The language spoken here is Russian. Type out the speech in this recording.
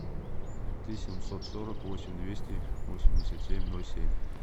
три семьсот сорок восемь двести восемьдесят семь ноль семь